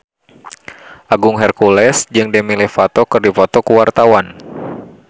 Agung Hercules jeung Demi Lovato keur dipoto ku wartawan